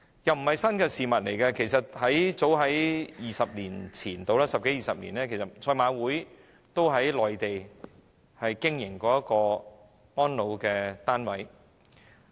這不是新事物，早在大約十多二十年前，香港賽馬會也曾在內地經營安老單位。